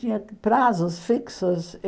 Tinha prazos fixos.